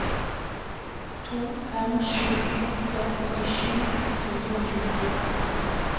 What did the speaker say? to fem sju åtte åttisju ett hundre og tjuefire